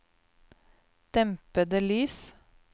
dempede lys